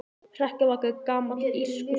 Hrekkjavaka er gamall írskur siður.